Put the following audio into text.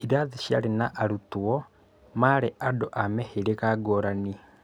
Irathi ciarĩ na arutwo maarĩ andũ a mĩhĩrĩga ngũrani.